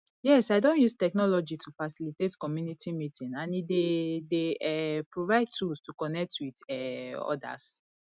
yes i don use technology to facilitate community meeting and e dey dey um provide tools to connect with um odas